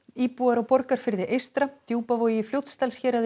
íbúar á Borgarfirði eystra Djúpavogi Fljótsdalshéraði